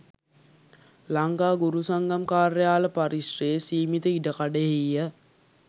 ලංකා ගුරු සංගම් කාර්යාල පරිශ්‍රයේ සීමිත ඉඩකඩෙහිය